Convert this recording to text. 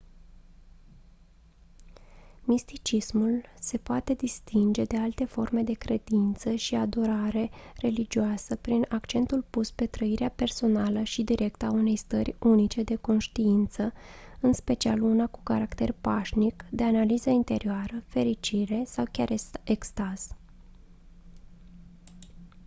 misticismul se poate distinge de alte forme de credință și adorare religioasă prin accentul pus pe trăirea personală și directă a unei stări unice de conștiință în special una cu caracter pașnic de analiză interioară fericire sau chiar extaz